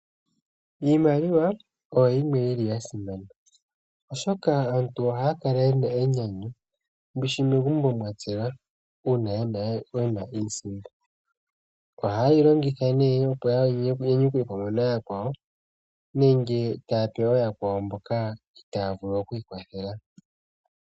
Iimaliwa oya simana oshoka aantu ohaya kala yena enyanyu lyambishi megumbo mwatselwa uuna yena iisimpo. Ohaye yi longitha opo ya nyanyukwe pamwe nooyakwawo nenge taya pe ooyakwawo mboka itaaya vulu okwii kwathela.